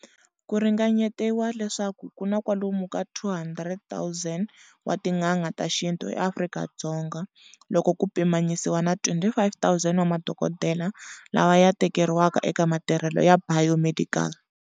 Ku ringanyetiwa leswaku ku na kwalomu ka 200,000 wa tin'anga ta xintu eAfrika-Dzonga loko ku pimanyisiwa na 25,000 wa madokodela lawa ya leteriweke eka matirhelo ya 'bio-medical'.